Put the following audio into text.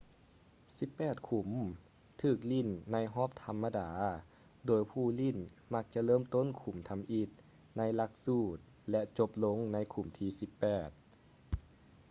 ສິບແປດຂຸມຖືກຫຼີ້ນໃນຮອບທຳມະດາ ໂດຍຜູ້ຫຼິ້ນມັກຈະເລີ່ມຕົ້ນຂຸມທຳອິດໃນຫຼັກສູດ ແລະ ຈົບລົງໃນຂຸມທີສິບແປດ